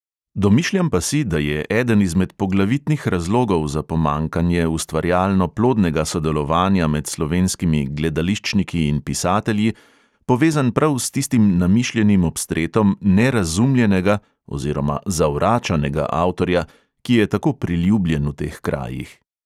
Domišljam pa si, da je eden izmed poglavitnih razlogov za pomanjkanje ustvarjalno plodnega sodelovanja med slovenskimi gledališčniki in pisatelji povezan prav s tistim namišljenim obstretom "nerazumljenega" oziroma "zavračanega" avtorja, ki je tako priljubljen v teh krajih.